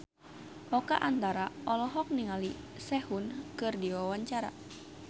Oka Antara olohok ningali Sehun keur diwawancara